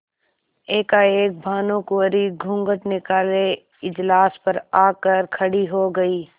एकाएक भानुकुँवरि घूँघट निकाले इजलास पर आ कर खड़ी हो गयी